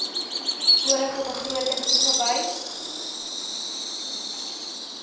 vorige begroting toegewys